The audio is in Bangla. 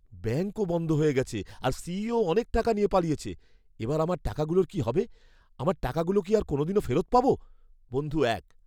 ব্যাঙ্কও বন্ধ হয়ে গেছে আর সিইওও অনেক টাকা নিয়ে পালিয়েছে, এবার আমার টাকাগুলোর কি হবে? আমার টাকাগুলো কি আর কোনোদিনও ফেরত পাব? বন্ধু এক